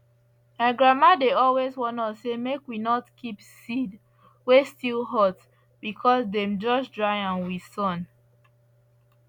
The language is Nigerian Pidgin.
my grandmama dey always warn us say make we not keep seed wey still hot because dem just dry am with sun